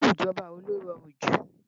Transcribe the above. Irú ìjọba wo ló rọrùn jù